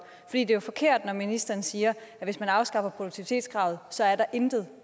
det er jo forkert når ministeren siger at hvis man afskaffer produktivitetskravet så er der intet